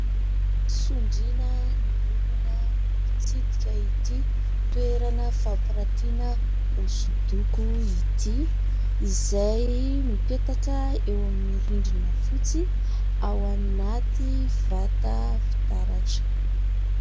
Sondriana ny olona mitsidika ity toerana fampirantiana hoso-doko ity, izay mipetaka eo amin'ny rindrina fotsy ao anaty vata fitaratra.